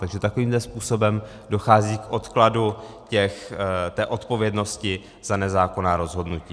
Takže takovýmto způsobem dochází k odkladu té odpovědnosti za nezákonná rozhodnutí.